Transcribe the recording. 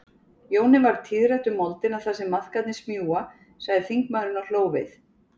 Jóni varð tíðrætt um moldina þar sem maðkarnir smjúga, sagði þingmaðurinn og hló við.